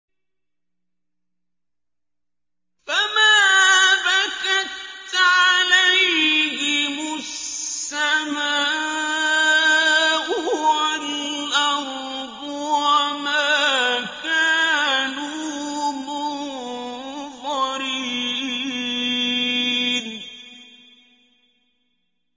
فَمَا بَكَتْ عَلَيْهِمُ السَّمَاءُ وَالْأَرْضُ وَمَا كَانُوا مُنظَرِينَ